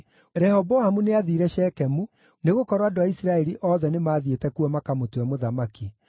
Rehoboamu nĩathiire Shekemu, nĩgũkorwo andũ a Isiraeli othe nĩmathiĩte kuo makamũtue mũthamaki.